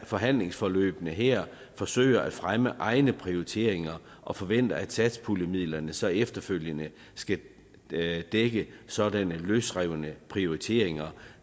forhandlingsforløbene her forsøger at fremme egne prioriteringer og forventer at satspuljemidlerne så efterfølgende skal dække sådanne løsrevne prioriteringer